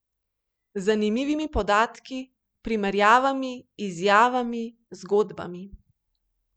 Z zanimivimi podatki, primerjavami, izjavami, zgodbami.